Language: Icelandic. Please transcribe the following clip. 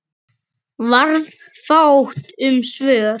Varð fátt um svör.